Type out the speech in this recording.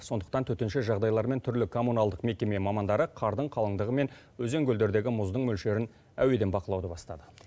сондықтан төтенше жағдайлар мен түрлі коммуналдық мекеме мамандары қардың қалыңдығы мен өзен көлдердегі мұздың мөлшерін әуеден бақылауды бастады